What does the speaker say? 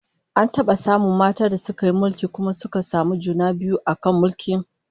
An taba samun matan da suka yi mulki kuma suka samu juna biyu a kan mulkin?